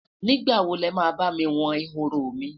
nígbà wo lema bá mí won ehoro mi?